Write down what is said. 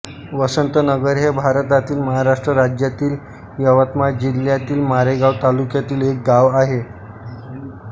वसंतनगर हे भारतातील महाराष्ट्र राज्यातील यवतमाळ जिल्ह्यातील मारेगांव तालुक्यातील एक गाव आहे